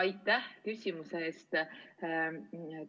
Aitäh küsimuse eest!